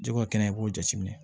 Jɛgɛ o kɛnɛ i b'o jateminɛ